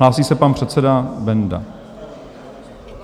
Hlásí se pan předseda Benda.